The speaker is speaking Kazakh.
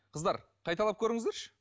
қыздар қайталап көріңіздерші